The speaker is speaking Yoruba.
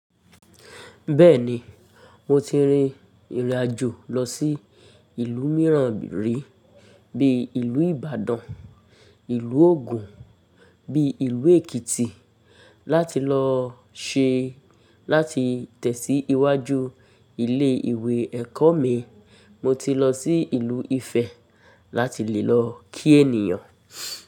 Bẹ́ẹ̀ni, mo ti rin ìrìnàjò lọ sí ìlú mìíràn rí bíi ìlú Ìbàdàn, ìlú Ògùn, bíi ìlú Èkìtì láti lọ ṣe láti tẹ̀síwájú ilé ìwé ẹ̀kọ́ mi. Mo ti lọ sí ìlú Ifẹ̀ láti lè lọ kí ènìyàn.